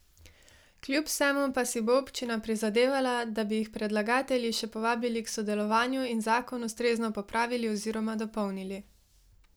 Kljub vsemu pa si bo občina prizadevala, da bi jih predlagatelji še povabili k sodelovanju in zakon ustrezno popravili oziroma dopolnili.